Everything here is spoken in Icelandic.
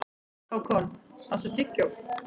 Hákon, áttu tyggjó?